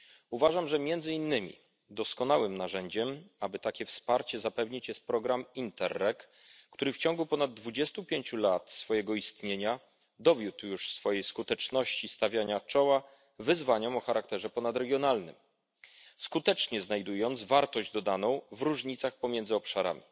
Uważam, że między innymi doskonałym narzędziem, aby takie wsparcie zapewnić, jest program Interreg, który w ciągu ponad dwudziestu pięciu lat swojego istnienia dowiódł już swojej skuteczności stawiania czoła wyzwaniom o charakterze ponadregionalnym, skutecznie znajdując wartość dodaną w różnicach pomiędzy obszarami.